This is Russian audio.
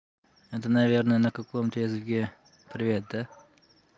это наверное на каком-то языке привет да